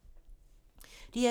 DR2